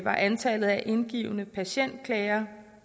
antallet af indgivne patientklager